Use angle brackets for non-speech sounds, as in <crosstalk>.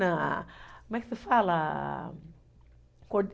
<unintelligible> Como é que se fala?